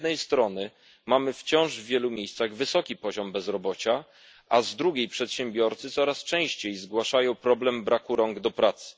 Z jednej strony, w wielu miejscach wciąż mamy wysoki poziom bezrobocia, a z drugiej przedsiębiorcy coraz częściej zgłaszają problem braku rąk do pracy.